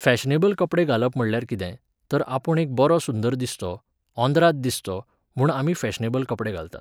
Fashionable कपडे घालप म्हणल्यार कितें, तर आपूण एक बरो सुंदर दिसचों, ऑर्राद दिसचों, म्हूण आमी फॅशनेबल कपडे घालतात.